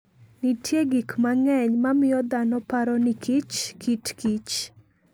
Nitie gik mang'eny mamiyo dhano paro ni kichkit kich.